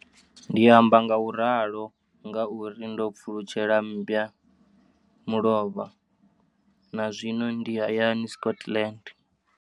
Ndi amba ngauralo nga uri ndo pfulutshela mmba mulovha na zwino ndi hayani, Scotland.